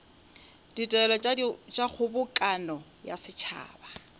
ditaelo tša kgobokano ya setšhaba